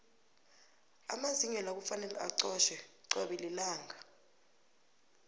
amazinyo la kufanele acotjhwe cobe lilanga